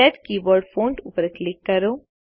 set keyboard font ઉપર click કરો